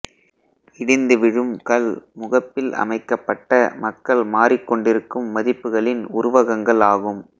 இடிந்து விழும் கல் முகப்பில் அமைக்கப்பட்ட மக்கள் மாறிக்கொண்டிருக்கும் மதிப்புகளின் உருவகங்கள் ஆகும்